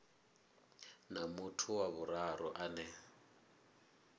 na muthu wa vhuraru ane